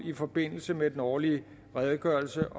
i forbindelse med den årlige redegørelse